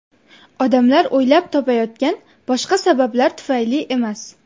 Odamlar o‘ylab topayotgan boshqa sabablar tufayli emas.